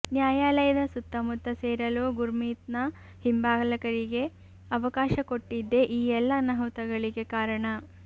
ನ್ಯಾಯಾಲಯದ ಸುತ್ತಮುತ್ತ ಸೇರಲು ಗುರ್ಮೀತ್ನ ಹಿಂಬಾಲಕರಿಗೆ ಅವಕಾಶ ಕೊಟ್ಟಿದ್ದೇ ಈ ಎಲ್ಲ ಅನಾಹುತಗಳಿಗೆ ಕಾರಣ